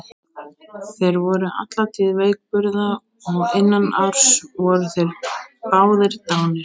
Þeir voru alla tíð veikburða og innan árs voru þeir báðir dánir.